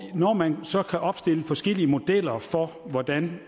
når man så kan opstille forskellige modeller for hvordan